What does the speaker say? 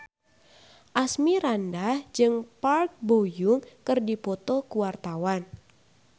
Asmirandah jeung Park Bo Yung keur dipoto ku wartawan